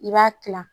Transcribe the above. I b'a kila